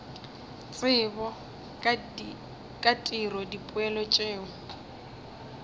tsebo ka tiro dipoelo tšeo